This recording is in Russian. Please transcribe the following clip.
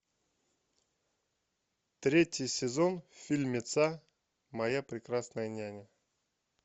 третий сезон фильмеца моя прекрасная няня